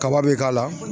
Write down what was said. Kaba be k'a la